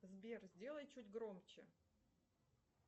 сбер сделай чуть громче